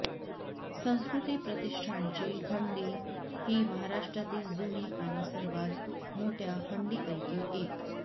संस्कृती प्रतिष्ठानची हंडी ही महाराष्ट्रातील जुनी आणि सर्वात मोठ्या हंडीपैकी एक